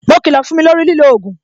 Mo kilo fún mi lórí lilo ogun